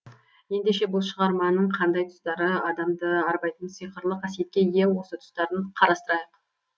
ендеше бұл шығарманың қандай тұстары адамды арбайтын сиқырлы қасиетке ие осы тұстарын қарастырайық